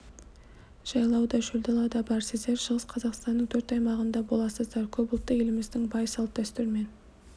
жайлау да шөлдала да бар сіздер шығыс қазақстанның төрт аймағында боласыздар көпұлтты еліміздің бай салт-дәстүрімен